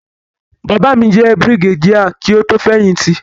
Bàbá mi jẹ́ Brigadier kí ó tó fẹ̀yìn tì.